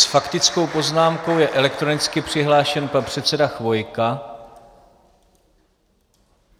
S faktickou poznámkou je elektronicky přihlášen pan předseda Chvojka.